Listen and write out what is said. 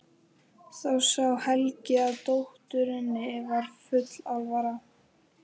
Þá sá Helgi að dótturinni var full alvara.